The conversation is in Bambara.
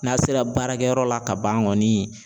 N'a sera baarakɛyɔrɔ la ka ban kɔni